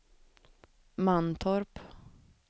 Mantorp